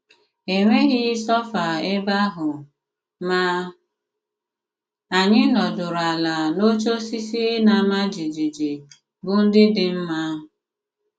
E nwéghị sôfà ebe àhụ, mà ànyị̀ nọdùrù àlà n’òchè òsìsì na-àmá jìjìjì, bụ́ ndị dị mma.